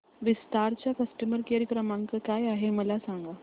विस्तार चा customer care क्रमांक काय आहे मला सांगा